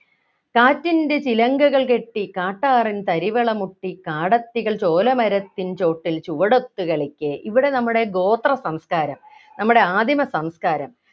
കാറ്റിൻ്റെ ചിലങ്കകൾ കെട്ടി കാട്ടാറിൻ തരിവള മുട്ടി കാടത്തികൾ ചോലമരത്തിൻ ചോട്ടിൽ ചുവടൊത്തു കളിക്കെ ഇവിടെ നമ്മുടെ ഗോത്ര സംസ്കാരം നമ്മുടെ ആദിമ സംസ്കാരം